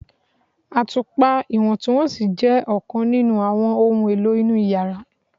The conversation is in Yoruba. Atupa atupa iwọntunwọnsi jẹ ọkan ninu awọn ohun elo inu yara